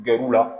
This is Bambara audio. Gɛr'u la